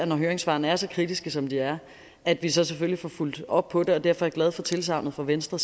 når høringssvarene er så kritiske som de er at vi selvfølgelig får fulgt op på det derfor er jeg glad for tilsagnet fra venstre